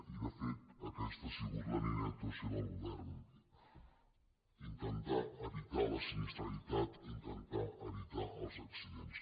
i de fet aquesta ha sigut la línia d’actuació del go·vern intentar evitar la sinistralitat intentar evitar els accidents